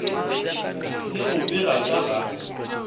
le go bega ka ga